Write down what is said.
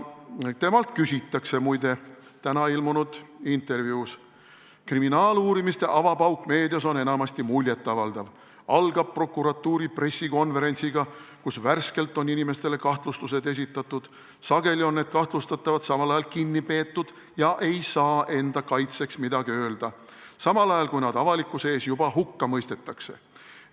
Temalt küsitakse täna ilmunud intervjuus: "Kriminaaluurimiste avapauk meedias on enamasti muljetavaldav – algab prokuratuuri pressikonverentsiga, kus värskelt on inimestele kahtlustused esitatud, sageli on need kahtlustatavad samal ajal kinni peetud ja ei saa enda kaitseks midagi öelda, samal ajal kui nad avalikkuse ees juba hukka mõistetakse.